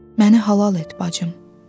Məni halal et, bacım,